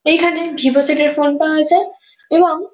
এখানে Vivo set -এর phone পাওয়া যায় এবং --